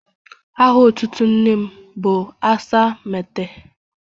Aha otutu nne m bụ Asa meets.